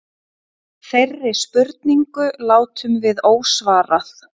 Þeirri spurningu látum við ósvarað.